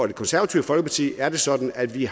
det konservative folkeparti er det sådan at vi